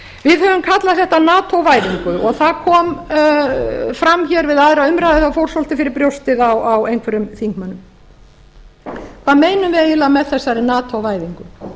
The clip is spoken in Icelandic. við höfum kallað þetta nato væðingu og það kom fram hér við aðra umræðu að fór svolítið fyrir brjóstið á einhverjum þingmönnum hvað meinum við eiginlega með þessari nato væðingu